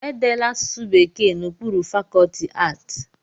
E deela asụsụ Bekee n'okpuru fakọlti aatị